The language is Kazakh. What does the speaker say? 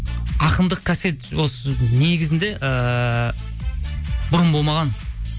ақындық қасиет осы негізінде ыыы бұрын болмаған